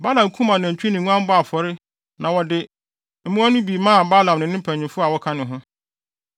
Balak kum anantwi ne nguan bɔɔ afɔre na ɔde mmoa no bi maa Balaam ne ne mpanyimfo a wɔka ne ho.